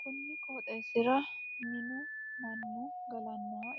Konni qooxeesira minnu Manu galanoha